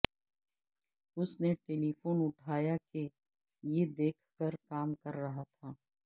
اس نے ٹیلیفون اٹھایا کہ یہ دیکھ کر کام کر رہا تھا